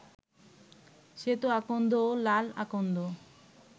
শ্বেত আকন্দ ও লাল আকন্দ